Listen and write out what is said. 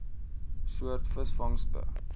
soort visvangste